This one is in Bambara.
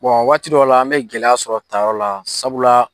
waati dɔ la an bɛ gɛlɛya sɔrɔ taayɔrɔ la sabula.